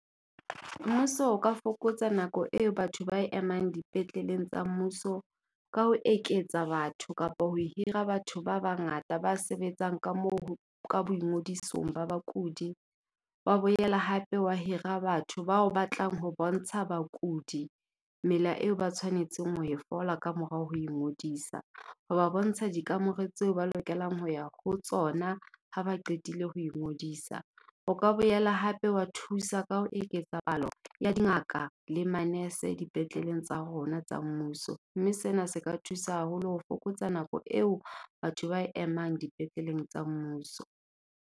Mmuso o ka fokotsa nako eo batho ba emang dipetleleng tsa mmuso, ka ho eketsa batho kapo ho hira batho ba bangata ba sebetsang ka moo ka boingodisong ba bakudi. Wa boela hape wa hira batho bao batlang ho bontsha bakudi mela eo ba tshwanetseng ho e fola ka morao ho ingodisa, ho ba bontsha dikamore tse ba lokelang ho ya ho tsona ha ba qetile ho ingodisa. O ka boela hape wa thusa ka ho eketsa palo ya dingaka le manese dipetleleng tsa rona tsa mmuso. Mme sena se ka thusa haholo ho fokotsa nako eo batho ba emang dipetleleng tsa mmuso.